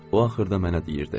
O axırda mənə deyirdi.